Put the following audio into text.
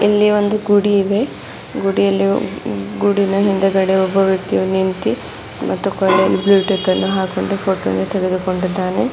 ಇಲ್ಲಿ ಒಂದು ಗುಡಿಯಿದೆ ಗುಡಿಯಲ್ಲಿ ಒ ಗುಡಿನ ಹಿಂದುಗಡೆ ಒಬ್ಬ ವ್ಯಕ್ತಿಯು ನಿಂತಿ ಮತ್ತು ಕೊಳ್ಳಲ್ಲಿ ಬ್ಲೂಟೂತನ್ನು ಹಾಕೊಂಡು ಫೋಟೋ ವನ್ನು ತೆಗೆದುಕೊಂಡಿದ್ದಾನೆ.